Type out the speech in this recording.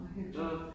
Hvor hyggeligt